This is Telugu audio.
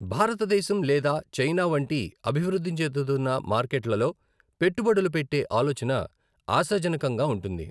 భారతదేశం లేదా చైనా వంటి అభివృద్ధి చెందుతున్న మార్కెట్లలో పెట్టుబడులు పెట్టే ఆలోచన ఆశాజనకంగా ఉంటుంది.